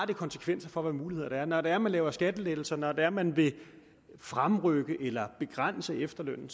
det konsekvenser for hvad muligheder der er når det er man laver skattelettelser og når det er man vil fremrykke eller begrænse efterlønnen